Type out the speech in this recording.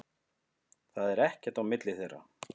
Það er ekkert á milli þeirra.